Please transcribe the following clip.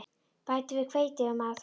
Bætið við hveiti ef með þarf.